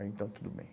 Aí, então, tudo bem.